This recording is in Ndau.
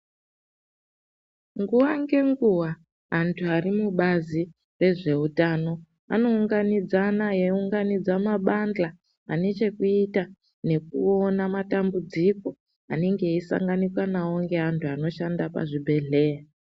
Nguwa ngenguwa antu ari mubazi rezveutano anounganidzana eiunganidza mabandla ane chekuita nekuona matambudziko anenga eisanganikwa nawo ngeantu anoshanda pacvibhedhleya.